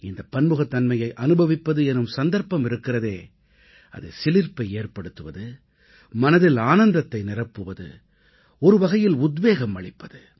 இந்தப் பன்முகத்தன்மையை அனுபவிப்பது எனும் சந்தர்ப்பம் இருக்கிறதே அது சிலிர்ப்பை ஏற்படுத்துவது மனதில் ஆனந்தத்தை நிரப்புவது ஒருவகையில் உத்வேகம் அளிப்பது